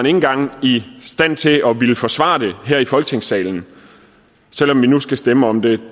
engang i stand til at ville forsvare det her i folketingssalen selv om vi nu skal stemme om det